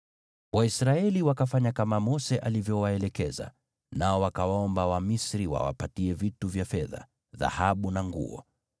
Waisraeli wakafanya kama Mose alivyowaelekeza, nao wakawaomba Wamisri wawapatie vitu vya fedha, dhahabu na nguo.